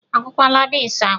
A kwọkwaala beans akwọ?